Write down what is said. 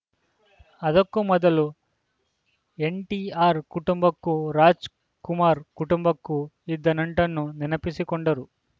ಅದಕ್ಕೂ ಮೊದಲು ಎನ್‌ಟಿಆರ್‌ ಕುಟುಂಬಕ್ಕೂ ರಾಜ್‌ ಕುಮಾರ್‌ ಕುಟುಂಬಕ್ಕೂ ಇದ್ದ ನಂಟನ್ನು ನೆನಪಿಸಿಕೊಂಡರು